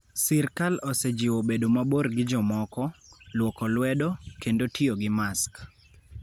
Sirkal osejiwo bedo mabor gi jomoko, lwoko lwedo, kendo tiyo gi mask.